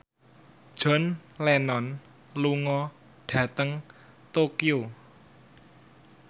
John Lennon lunga dhateng Tokyo